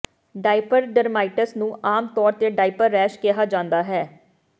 diaper dermatitis ਨੂੰ ਆਮ ਤੌਰ ਤੇ ਡਾਇਪਰ ਰੈਸ਼ ਕਿਹਾ ਜਾਂਦਾ ਹੈ